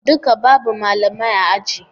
Duka babu Malamai a ajin